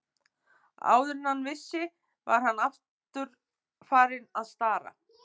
Áður en hann vissi var hann þó aftur farinn að stara.